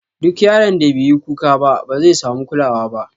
Duk yaron da beyi kuka ba, bazai samu kulawa ba.